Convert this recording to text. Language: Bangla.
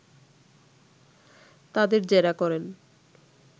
তাদের জেরা করেন